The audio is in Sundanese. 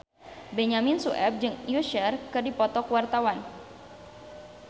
Benyamin Sueb jeung Usher keur dipoto ku wartawan